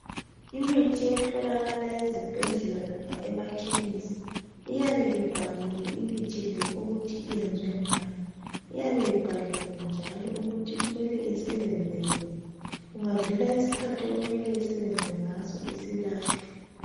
Imithi etholakala ezibhedlela loba emakhemesi iyabe ibhaliwe imithi le ukuthi iyenziwe ngani, iyabe ibhaliwe njalo ukuthi kumele isebenze nini, kungadlula isikhathi okumele isebenze ngaso isilahlwa.